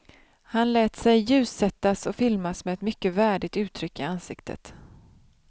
Han lät sig ljussättas och filmas med ett mycket värdigt uttryck i ansiktet.